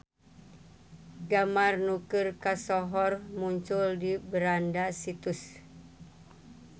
Gambar nu keur kasohor muncul di beranda situs.